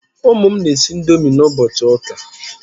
Ụmụ m na-esi ndomi ụbọchi ụka